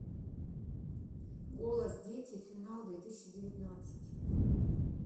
голос дети финал две тысячи девятнадцать